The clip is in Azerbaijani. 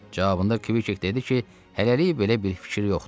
Cavabında Kk dedi ki, hələlik belə bir fikir yoxdur.